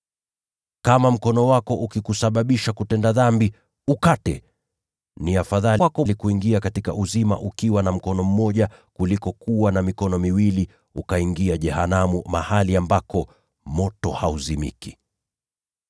Kama mkono wako ukikusababisha kutenda dhambi, ukate. Ni afadhali kwako kuingia katika uzima ukiwa na mkono mmoja, kuliko kuwa na mikono miwili lakini ukaingia jehanamu, mahali ambako moto hauzimiki. [